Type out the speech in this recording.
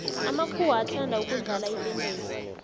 amakuhwa athanda ukudlala itenesi